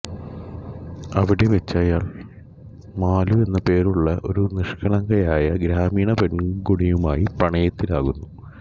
അവിടെവച്ച് അയാൾ മാലു എന്ന പേരുള്ള ഒരു നിഷ്കളങ്കയായ ഗ്രാമീണ പെൺകൊടിയുമായി പ്രണയത്തിലാകുന്നു